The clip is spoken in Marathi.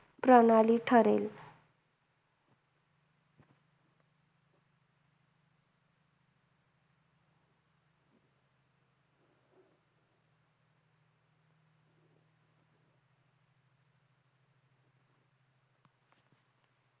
प्रणाली ठरेल.